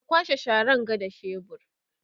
ka kwashe Sharan ga da shebur